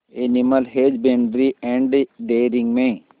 animal husbandry and dairying में